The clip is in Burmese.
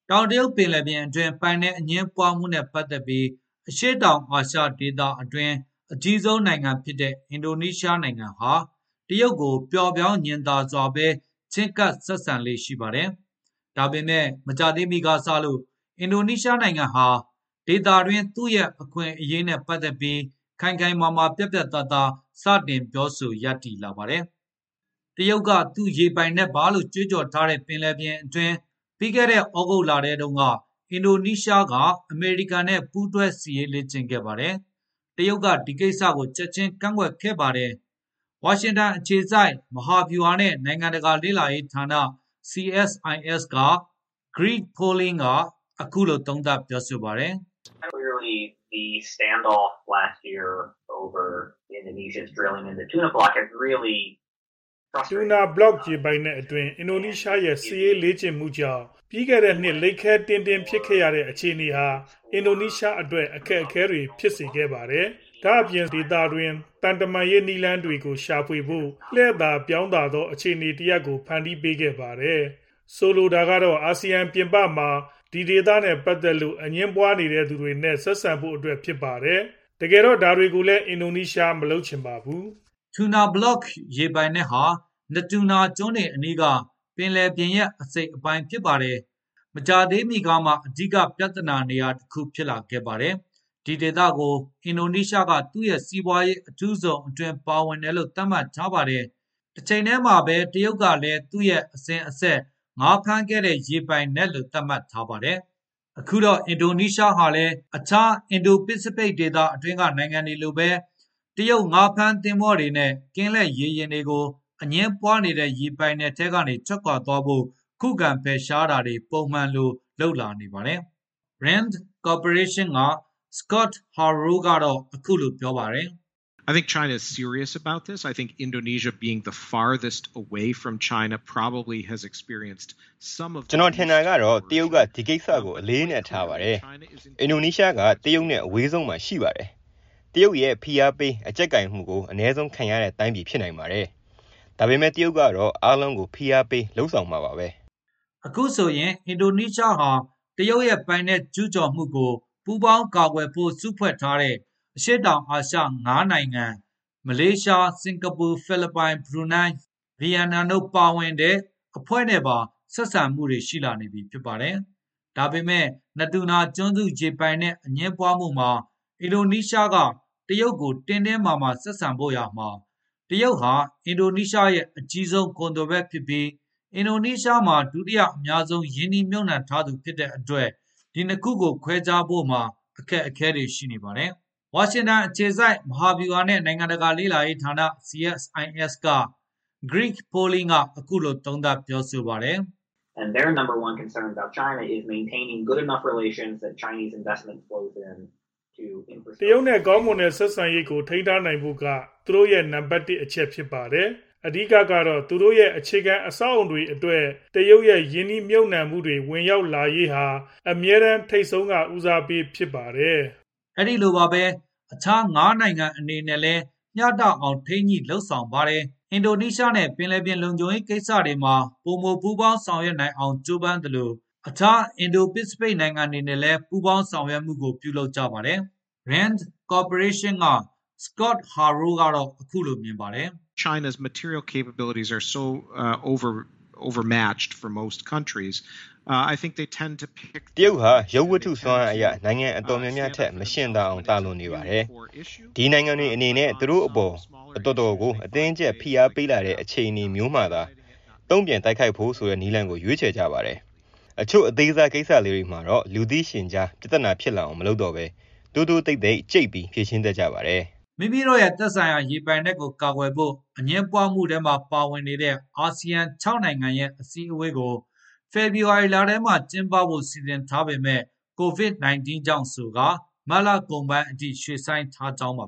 တောင်တရုတ်ပင်လယ်ပြင်အတွင်း ပိုင်နက်အငြင်းပွားမှုနဲ့ ပတ်သက်ပြီး အရှေ့တောင်အာရှအတွင်း အကြီးဆုံးနိုင်ငံဖြစ်တဲ့ အင်ဒိုနီးရှားဟာ တရုတ်ကို ပျော့ပျောင်းစွာ ချဉ်းကပ်ဆက်ဆံလေ့ ရှိပါတယ်။ ဒါပေမယ့် မကြာသေးမီကစလို့ အင်ဒိုနီးရှားဟာ ဒေသတွင်း သူ့ရဲ့အခွင့်အရေးနဲ့ ပတ်သက်ပြီး ခိုင်ခိုင်မာမာ ပြတ်ပြတ်သားသား စတင်ပြောဆို ရပ်တည်လာပါတယ်။ တရုတ်က သူ့ရေပိုင်နက်ပါလို့ ကြွေးကြော်ထားတဲ့ ပင်လယ်ပြင်အတွင်း ပြီးခဲ့တဲ့ သြဂုတ်လထဲတုန်းက အင်ဒိုနီးရှားက အမေရိကန်နဲ့ ပူးတွဲ စစ်ရေးလေ့ကျင့်ခဲ့ပါတယ်။ တရုတ်က ဒီကိစ္စကို ချက်ချင်း ကန့်ကွက်ခဲ့ပါတယ်။ ဝါရှင်တန်အခြေစိုက် မဟာဗျူဟာနဲ့ နိုင်ငံတကာလေ့လာရေးဌာန CSIS က Greg Polling က အခုလို သုံးသပ်ပြောဆိုပါတယ်။ “Tuna Block ရေပိုင်နက်အတွင်း အင်ဒိုနီးရှားရဲ့ စစ်ရေးလေ့ကျင့်မှုကြောင့် ပြီးခဲ့တဲ့နှစ် လိပ်ခဲတည်းလည်း ဖြစ်ခဲ့ရတဲ့ အခြေအနေဟာ အင်ဒိုနီးရှားအတွက် အခက်အခဲတွေ ဖြစ်စေခဲ့ပါတယ်။ ဒါ့အပြင် (sub region/Asean) ဒေသတွင်း သံတမန်ရေး နည်းလမ်းတွေကို ရှာဖွေဖို့ လှည့်သာပြောင်းသာ အခြေအနေတရပ်ကို ဖန်တီးပေးခဲ့ပါတယ်။ ဆိုလိုတာကတော့ အာဆီယံပြင်ပမှာ ဒီဒေသနဲ့ပတ်သက်လို့ အငြင်းပွားနေတဲ့သူတွေနဲ့ ဆက်ဆံဖို့အတွက် ဖြစ်ပါတယ်။ တကယ်တော့ ဒါကိုလည်း အင်ဒိုနီးရှား မလုပ်ချင်ဘူး။” Tuna Block ရေပိုင်နက်ဟာ Natuna ကျွန်းတွေအနီးက ပင်လယ်ရေပြင်ရဲ့ အစိတ်အပိုင်း ဖြစ်ပါတယ်။ မကြာသေးမီကမှ အဓိကပြဿနာနေရာတခု ဖြစ်လာခဲ့ပါတယ်။ ဒီဒေသကို အင်ဒိုနီးရှားက သူ့ရဲ့ စီးပွားရေးအထူးဇုန်အတွင်း ပါဝင်တယ်လို့ သတ်မှတ်ထားပါတယ်။ တချိန်တည်းမှာပဲ တရုတ်ကလည်း သူ့ရဲ့ အစဉ်အဆက် ငါးဖမ်းခဲ့တဲ့ ရေပိုင်နက်လို့ သတ်မှတ်ထားပါတယ်။ အခုတော့ အင်ဒိုနီးရှားဟာလည်း အခြား အင်ဒို-ပစိဖိတ် ဒေသတွင်းက နိုင်ငံတွေလိုပဲ တရုတ်ငါးဖမ်းသင်္ဘောတွေနဲ့ ကင်းလှည့်ရေယာဉ်တွေကို အငြင်းပွားနေတဲ့ ရေပိုင်နက်ထဲက ထွက်ခွါသွားဖို့ ခုခံဖယ်ရှားတာတွေ ပုံမှန်လုပ်လာနေပါတယ်။ RAND Cooperation က Scott Harold ကတော့ အခုလိုပြောပါတယ်။ “ကျနော်ထင်တာကတော့ တရုတ်က ဒီကိစ္စ အလေးအနက်ထားပါတယ်။ အင်ဒိုနီးရှားက တရုတ်နဲ့ အဝေးဆုံးမှာ ရှိပါတယ်။ တရုတ်ရဲ့ ဖိအားပေး အကျပ်ကိုင်မှုကို အနည်းဆုံးခံရတဲ့တိုင်းပြည် ဖြစ်နိုင်ပါတယ်။ ဒါပေမယ့် တရုတ်ကတော့ အားလုံးကို ဖိအားပေး လုပ်ဆောင်မှာပါပဲ။” အခုဆိုရင် အင်ဒိုနီးရှားဟာ တရုတ်ရဲ့ ပိုင်နက်ကျူးကျော်မှုကို ပူးပေါင်းကာကွယ်ဖို့ စုဖွဲ့ထားတဲ့ အရှေ့တောင်အာရှ ၅ နိုင်ငံ၊ မလေးရှား၊ စင်ကာပူ၊ ဖိလစ်ပိုင်၊ ဘရူနိုင်း၊ ဗီယက်နမ်တို့ ပါဝင်တဲ့ အဖွဲ့နဲ့ပါ ဆက်ဆံမှုတွေ ရှိလာနေပြီ ဖြစ်ပါတယ်။ ဒါပေမယ့် Natuna ကျွန်းစု ရေပိုင်နက် အငြင်းပွားမှုမှာ အင်ဒိုနီးရှားက တရုတ်ကို တင်းတင်းမာမာ ဆက်ဆံဖို့ ဆိုရာမှာ တရုတ်ဟာ အင်ဒိုနီးရှားရဲ့ အကြီးဆုံးကုန်သွယ်ဘက်ဖြစ်ပြီး အင်ဒိုနီးရှားမှာ ဒုတိယအများဆုံး ရင်းနှီးမြှုပ်နှံထားသူ ဖြစ်တဲ့အတွက် ဒီနှစ်ခုကို ခွဲခြားဖို့မှာ အခက်အခဲတွေ ရှိနေပါတယ်။ ဝါရှင်တန်အခြေစိုက် မဟာဗျူဟာနဲ့ နိုင်ငံတကာ လေ့လာရေးဌာန CSIS က Greg Polling က အခုလို သုံးသပ် ပြောဆိုပါတယ်။ “တရုတ်နဲ့ ကောင်းမွန်တဲ့ ဆက်ဆံရေးကို ထိန်းထားနိုင်ဖို့က သူတို့ရဲ့ နံပါတ် ၁ အချက် ဖြစ်ပါတယ်။ အဓိကကတော့ သူတို့ရဲ့ အခြေခံအဆောက်အဦးတွေအတွက် တရုတ်ရဲ့ ရင်းနှီးမြှုပ်နှံမှုတွေ ဝင်ရောက်လာရေးဟာ အမြဲတမ်း ထိပ်ဆုံးက ဦးစားပေးဖြစ်ပါတယ်။” အဲဒီလိုပါပဲ၊ အခြား ၅ နိုင်ငံအနေနဲ့လည်း မျှတအောင် ထိန်းညှိလုပ်ဆောင်ပါတယ်။ အင်ဒိုနီးရှားနဲ့ ပင်လယ်ပြင်လုံခြုံရေး ကိစ္စတွေမှာ ပိုမိုပူးပေါင်း ဆောင်ရွက်နိုင်အောင် ကြိုးပမ်းသလို အခြား အင်ဒို-ပစိဖိတ် နိုင်ငံတွေနဲ့လည်း ပူးပေါင်းဆောင်ရွက်နိုင်မှုကို လုပ်ကြပါတယ်။ RAND Corporation က Scott Harold ကတော့ အခုလိုမြင်ပါတယ်။ “တရုတ်ဟာ ရုပ်ဝတ္ထုစွမ်းအားအရ နိုင်ငံအတော်များများထက် မယှဉ်သာအောင် သာလွန်ပါတယ်။ ဒီနိုင်ငံတွေအနေနဲ့ သူတို့အပေါ် အတော်ကို အတင်းအကျပ် ဖိအားပေးလာတဲ့ အခြေအနေမျိုးမှာသာ တုံ့ပြန်တိုက်ခိုက်ဖို့ဆိုတဲ့ နည်းလမ်းကို ရွေးချယ်ကြပါတယ်။ အချို့ အသေးစားကိစ္စလေးတွေမှာတော့ လူသိရှင်ကြား ပြဿနာဖြစ်လာအောင် မလုပ်တော့ဘဲ တိုးတိုးတိတ်တိတ် ကြိတ်ပြီး ဖြေရှင်းတတ်ကြပါတယ်။” မိမိတို့ရဲ့ သက်ဆိုင်ရာ ရေပိုင်နက်ကို ကာကွယ်ဖို့ အငြင်းပွားမှုထဲမှာ ပါဝင်နေတဲ့ အာဆီယံ ၆ နိုင်ငံရဲ့ အစည်းအဝေးကို ဖေဖော်ဝါရီလထဲမှာ ကျင်းပဖို့ စီစဉ်ထားပေမယ့် COVID-19 ကြောင့် မတ်လကုန်ပိုင်းအထိ ရွှေ့ဆိုင်းထားကြောင်းပါ